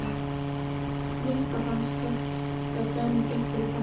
Nikka fannst þetta dæmigert fyrir Kamillu.